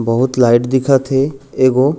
बहुत लाइट दिखत हे एगो--